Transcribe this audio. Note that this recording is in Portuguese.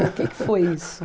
O que que foi isso?